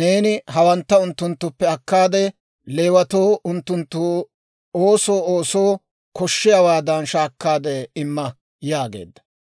neeni hewantta unttunttuppe akkaade, Leewatoo unttunttu oosoo oosoo koshshiyaawaadan shaakkaade imma» yaageedda.